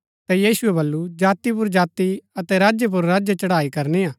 ता यीशुऐ वलु जाति पुर जाति अतै राज्य पुर राज्य चढ़ाई करनी हा